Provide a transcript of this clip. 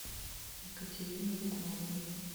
екатерины лукмановой